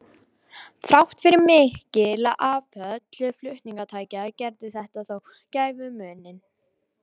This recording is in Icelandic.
Þrátt fyrir mikil afföll flutningatækja gerði þetta þó gæfumuninn.